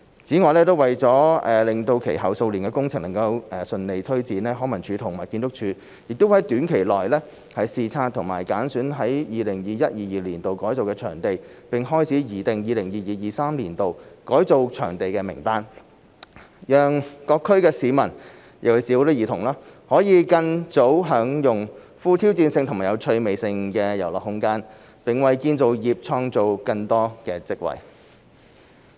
此外，為了使其後數年的工程能順利推展，康文署及建築署會在短期內視察已揀選於 2021-2022 年度改造的場地，並開始擬定 2022-2023 年度改造場地的名單，讓各區市民，尤其是兒童，可更早享用富挑戰性及有趣味性的遊樂空間，並為建造業創造更多職位。